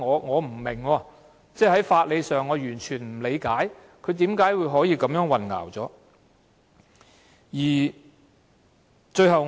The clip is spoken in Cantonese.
我不明白，在法理上亦完全不理解她為何會有此混淆。